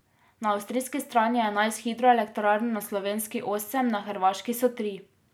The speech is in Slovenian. Na avstrijski strani je enajst hidroelektrarn, na slovenski osem, na hrvaški so tri.